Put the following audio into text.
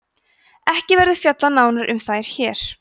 ekki verður fjallað nánar um þær hér